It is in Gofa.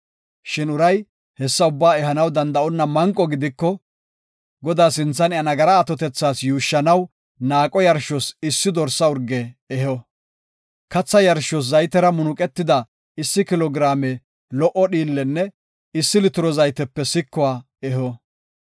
Shin uray hessa ubbaa ehanaw danda7onna manqo gidiko, Godaa sinthan iya nagaraa atotethas yuushshanaw naaqo yarshos issi dorsa urge eho. Katha yarshos zaytera munuqetida issi kilo giraame lo77o dhiillenne issi litiro zaytepe sikuwa eho.